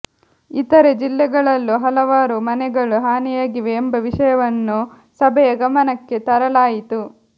ಇತರೆ ಜಿಲ್ಲೆಗಳಲ್ಲೂ ಹಲವಾರು ಮನೆಗಳು ಹಾನಿಯಾಗಿವೆ ಎಂಬ ವಿಷಯವನ್ನು ಸಭೆಯ ಗಮನಕ್ಕೆ ತರಲಾಯಿತು